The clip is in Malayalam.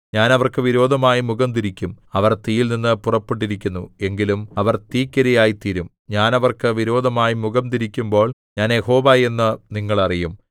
ഞാൻ അവർക്ക് വിരോധമായി മുഖം തിരിക്കും അവർ തീയിൽനിന്നു പുറപ്പെട്ടിരിക്കുന്നു എങ്കിലും അവർ തീക്കിരയായിത്തീരും ഞാൻ അവർക്ക് വിരോധമായി മുഖം തിരിക്കുമ്പോൾ ഞാൻ യഹോവ എന്ന് നിങ്ങൾ അറിയും